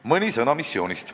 Mõni sõna missioonist.